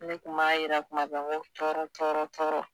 Ne kun m'a yira kuma bɛɛ ko tɔɔrɔ tɔɔrɔ tɔɔrɔ